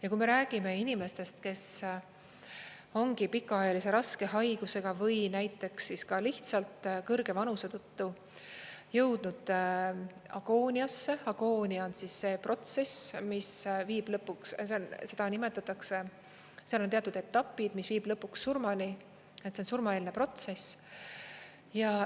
Ja kui me räägime inimestest, kes ongi pikaajalise raske haigusega või näiteks ka lihtsalt kõrge vanuse tõttu jõudnud agooniasse, agoonia on see protsess, mis viib lõpuks, seda nimetatakse, seal on teatud etapid, mis viib lõpuks surmani, see on surmaeelne protsess.